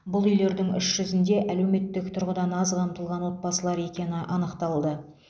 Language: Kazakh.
бұл үйлердің үш жүзінде әлеуметтік тұрғыдан аз қамтылған отбасылар екені анықталды